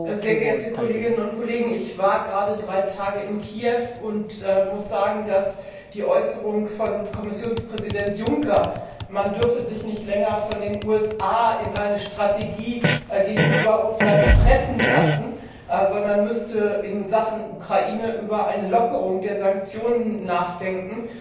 Frau Präsidentin, sehr geehrte Kolleginnen und Kollegen! Ich war gerade drei Tage in Kiew und muss sagen, dass die Äußerung von Kommissionspräsident Juncker, man dürfe sich nicht länger von den USA in eine Strategie gegenüber Russland pressen lassen, sondern müsste in Sachen Ukraine über eine Lockerung der Sanktionen nachdenken,